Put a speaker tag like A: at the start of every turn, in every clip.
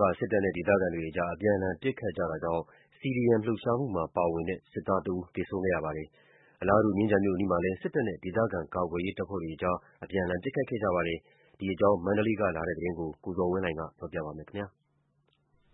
A: က စစ်တပ်နဲ့ ဒေသခံတွေအကြား အပြန်အလှန် ပစ်ခတ်မှုတွေ ဖြစ်ခဲ့တာကြောင့် CDM လှုပ်ရှားမှုမှာ ပါဝင်တဲ့ စစ်သားတဦး သေဆုံးခဲ့ပါတယ်။ အလားတူ မြင်းခြံမြို့အနီးမှာလည်း စစ်တပ်နဲ့ ဒေသခံ ကာကွယ်ရေးတပ်ဖွဲ့တွေအကြား အပြန်အလှန် ပစ်ခတ်မှုတွေ ရှိခဲ့ပါတယ်။ ဒီအကြောင်း မန္တလေးကလာတဲ့သတင်းကို ကိုဇော်ဝင်းလှိုင်က တင်ပြပေးပါမယ်။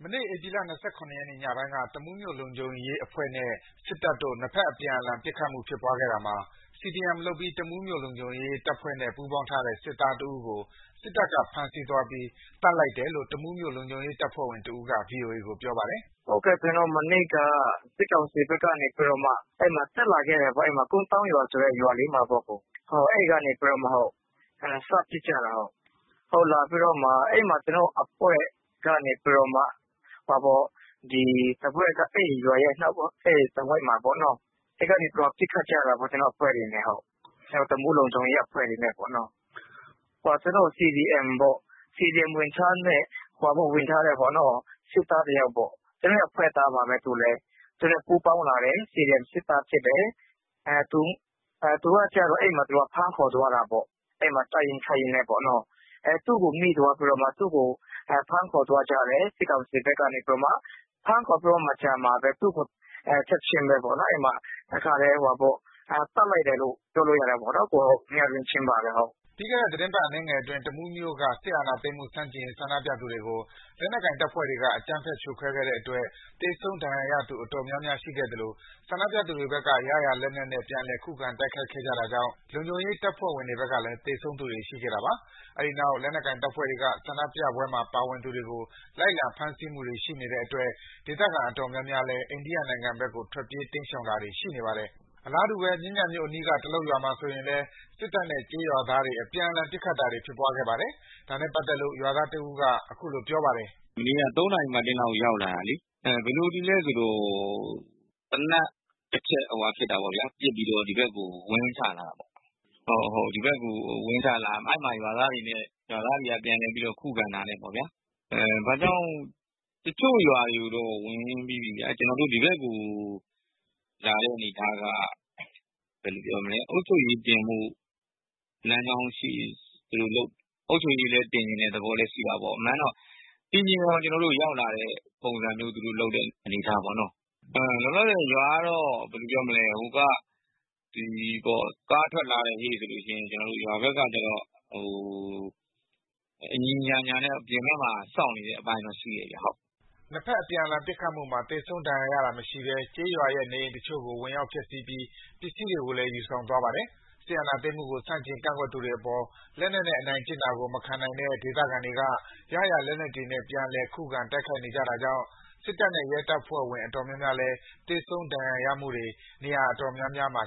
B: မနေ့ဧပြီ ၂၇ ရက်ညပိုင်းက တမူးမြို့လုံခြုံရေးအဖွဲ့နဲ့ စစ်တပ်တို့ ၂ ဘက်အပြန်အလှန် ပစ်ခတ်မှုဖြစ်ပွားခဲ့တာမှာ CDM လုပ်ပြီး တမူးလုံခြုံရေးအဖွဲ့နဲ့ ပူးပေါင်းထားတဲ့ စစ်သားတဦးကို စစ်တပ်က ဖမ်းဆီးသွားပြီး သတ်လိုက်တယ်လို့ တမူးလုံခြုံရေးတပ်ဖွဲ့ဝင်တဦးက ဗွီအိုအေကို ပြောပါတယ်
C: ။ “စစ်ကောင်စီဘက်က မနေ့က ကိုးသောင်းဆိုတဲ့ ရွာလေးကို တက်လာခဲ့တယ်ပေါ့။ အဲ့ဒီကနေ စပစ်ကြတာ။ ကျနော်တို့ အဖွဲ့ကနေပြီး အဲ့ရွာရဲ့တဝိုက်မှာပေါ့နော် အဲ့ကနေပစ်ခတ်ကြတာပေါ့။ ကျနော်တို့ တမူးလုံခြုံရေး အဖွဲ့တွေနဲ့ အဲ့ဒီမှာ CDM ဝင်ထားတဲ့ စစ်သားတယောက်ပေါ့နော်။ ကျနော်တို့ အဖွဲ့သားပါပဲ။ ကျနော်တို့နဲ့ ပူးပေါင်းလာတယ်။ CDM စစ်သားဖြစ်တယ်။ သူကကျတော့ အဲ့ဒီမှာ ဖမ်းခေါ်သွားတာပေါ့။ တိုက်ရင်းခိုက်ရင်းနဲ့ သူ့ကို မိသွားပြီးတော့ သူ့ကို ဖမ်းခေါ်သွားကြတယ်။ စစ်ကောင်စီဘက်က ဖမ်းခေါ်ပြီးကျတော့မှပဲ သူ့ကိုချက်ချင်းပဲ တခါတည်း သတ်လိုက်တယ်လို့ပြောလို့ရပါတယ်။ ညတွင်းချင်းပါပဲ။”
B: ပြီးခဲ့တဲ့ သီတင်းပတ် အနည်းငယ်အတွင်း တမူးမြို့က စစ်အာဏာသိမ်းမှု ဆန့်ကျင်ရေး ဆန္ဒပြသူတွေကို လက်နက်ကိုင်တပ်ဖွဲ့တွေက အကြမ်းဖက် ဖြိုခွဲခဲ့တဲ့အတွက် သေဆုံး၊ ဒဏ်ရာရသူ အတော်များများ ရှိခဲ့သလို ဆန္ဒပြသူတွေဘက်က ရရာလက်နက်နဲ့ ပြန်လည် ခုခံ တိုက်ခိုက်ခဲ့ကြတာကြောင့် လုံခြုံရေးတပ်ဖွဲ့ဝင်တွေဘက်လည်း သေဆုံးသူတွေ ရှိခဲ့တာပါ။ အဲဒီနောက် လက်နက်ကိုင်တပ်ဖွဲ့တွေက ဆန္ဒပြပွဲမှာ ပါဝင်သူတွေကို လိုက်လံ ဖမ်းဆီးမှုတွေ ရှိနေတဲ့အတွက် ဒေသခံအတော်များများလည်း အိန္ဒိယနိုင်ငံဘက်ကို ထွက်ပြေး တိမ်းရှောင်တာတွေ ရှိနေပါတယ်။ အလားတူပဲ မြင်းခြံမြို့အနီးက တလုတ်ရွာမှာဆိုရင်လည်း စစ်တပ်နဲ့ ကျေးရွာသားတွေ အပြန်အလှန် ပစ်ခတ်တာတွေ ဖြစ်ခဲ့ပါသေးတယ်။ ဒါနဲ့ပတ်သက်လို့ ရွာသား တဦးက အခုလိုပြောပါတယ်။
A: “သူတို့က ၃ နာရီမတ်တင်းလောက်ရောက်လာတာလေ။ ဘယ်လိုတွေလည်းဆိုတော့ သေနတ်တချက်ပစ်ပြီးတော့ ဒီဘက်ကို ဝင်ချလာတာ။ အဲ့ဒီမှာရွာသားတွေက ပြန်လည်ပြီးခုခံတာနဲ့ပေါ့ဗျာ။ တချို့ရွာတွေကိုတော့ ဝင်ပြီးပြီ။ ဒီဘက်ကိုလာတဲ့အနေအထားက အုပ်ချုပ်ရေးတင်ချင်တဲ့သဘောလည်း ရှိတယ်။ အမှန်တော့ တင်ချင်လို့ရောက်လာတဲ့အနေအထားပေါ့။ လောလောဆယ်ရွာက ကားထွက်လာတယ်ဆိုရင် ရွာဘက်က ညီညီညာညာနဲ့ အပြင်ဘက်မှာ စောင့်နေတဲ့အပိုင်းတော့ရှိတယ်။” ၂
B: ဘက်အပြန်အလှန် ပစ်ခတ်မှုမှာ သေဆုံးဒဏ်ရာရတာမရှိဘဲ ကျေးရွာရဲ့နေအိမ်အချို့ကို ဝင်ရောက်ဖျက်ဆီးပြီး ပစ္စည်းတွေကိုလည်း ယူဆောင်သွားပါတယ်။ စစ်အာဏာသိမ်းမှုကို ဆန့်ကျင် ကန့်ကွက်သူတွေအပေါ် လက်နက်နဲ့ အနိုင်ကျင့်တာကို မခံနိုင်တဲ့ ဒေသခံတွေက ရရာလက်နက်တွေနဲ့ ပြန်လည် ခုခံ တိုက်ခိုက်နေကြတာကြောင့် စစ်တပ်နဲ့ ရဲတပ်ဖွဲ့ဝင် အတော်များများလည်း သေဆုံး ဒဏ်ရာရမှုတွေ
C: နေရာအတော်များများမှာ